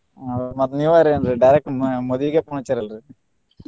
ಹೌದ ಮತ್ತ್ ನೀವರಾ ಏನ್ರೀ direct ಮ~ ಮದ್ವಿಗ phone ಹಚ್ಚಿರಲ್ರಿ.